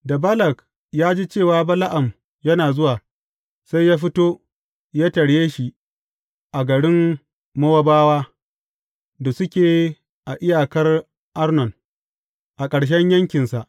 Da Balak ya ji cewa Bala’am yana zuwa, sai ya fito, ya tarye shi a garin Mowabawa da suke a iyakar Arnon, a ƙarshen yankinsa.